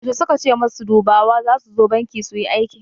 Yaushe suka ce masu dubawa zasu zo banki suyi aiki?